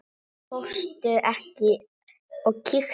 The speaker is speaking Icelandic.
Fórstu ekki og kíktir?